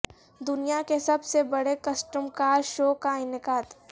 دنیا کے سب سے بڑے کسٹم کار شو کا انعقاد